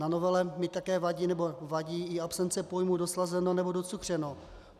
Na novele mi také vadí, nebo vadí i absence pojmu doslazeno nebo docukřeno.